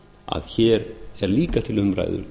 að hér er líka til umræðu